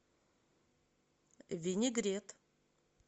винегрет